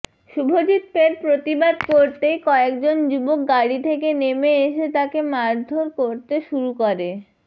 শুভজিৎ ফের প্রতিবাদ করতেই কয়েকজন যুবক গাড়ি থেকে নেমে এসে তাঁকে মারধর করতে শুরু করে